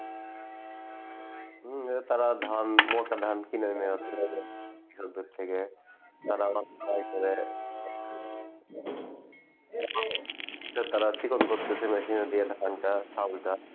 হম তারা ধান মোটা ধান কিনে নিয়ে কৃষকদের থেকে তারা এটা বিক্রয় করে তারা চিকন করতেছে machine এর দিয়ে ধান টা, চাল টা